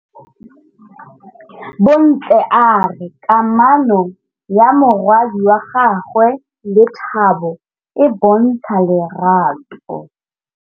Bontle a re kamanô ya morwadi wa gagwe le Thato e bontsha lerato.